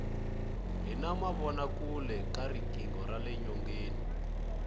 hi na mavona kule ka riqingho rale nyoneni